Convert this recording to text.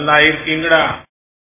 நல்லா இருக்கீங்களா